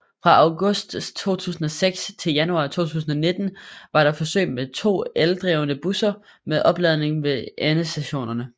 Fra august 2016 til januar 2019 var der forsøg med to eldrevne busser med opladning ved endestationerne